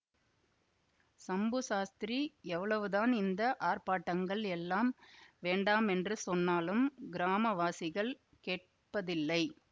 சம்பு சாஸ்திரி எவ்வளவுதான் இந்த ஆர்ப்பாட்டங்கள் எல்லாம் வேண்டாமென்று சொன்னாலும் கிராமவாசிகள் கேட்பதில்லை